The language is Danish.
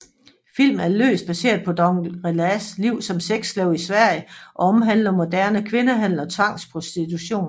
Filmen er løst baseret på Dangoule Rasalaites liv som sexslave i Sverige og omhandler moderne kvindehandel og tvangsprostitution